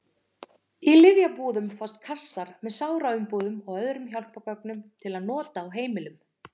Í lyfjabúðum fást kassar með sáraumbúðum og öðrum hjálpargögnum til nota á heimilum.